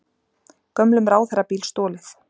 Gömlum ráðherrabíl stolið